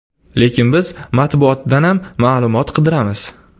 Lekin biz matbuotdanam ma’lumot qidiramiz.